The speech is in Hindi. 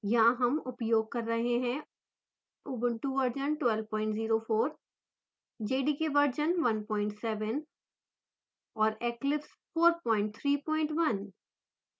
यहाँ हम उपयोग कर रहे हैं ऊबंटु वर्जन 1204 jdkवर्जन17 और eclipse 431